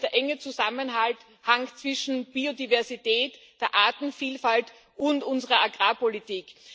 Das ist nämlich der enge Zusammenhang zwischen Biodiversität, der Artenvielfalt, und unserer Agrarpolitik.